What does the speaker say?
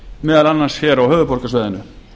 meðal annars hér á höfuðborgarsvæðinu